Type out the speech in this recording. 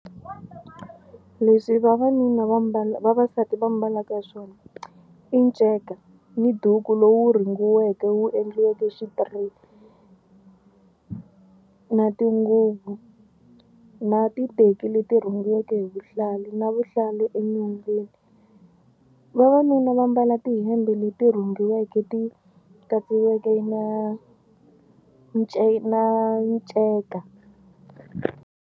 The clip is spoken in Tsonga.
Leswi vavanuna va mbala vavasati va mbalaka swona i nceka ni duku lowu rhungiweke wu endliweke na tinguvu na titeki leti rhungiweke hi vuhlalu na vuhlalu enyongeni. Vavanuna va mbala tihembe leti rhungiweke ti katsiweke na nceka.